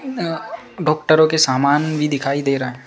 डॉक्टरो के सामान भी दिखाई दे रहा है।